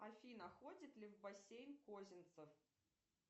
афина ходит ли в бассейн козинцев